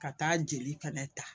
Ka taa jeli fɛnɛ ta